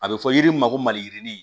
A bɛ fɔ yiri min ma ko maliyirini